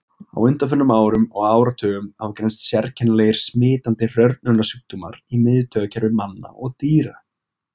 Á undanförnum árum og áratugum hafa greinst sérkennilegir smitandi hrörnunarsjúkdómar í miðtaugakerfi manna og dýra.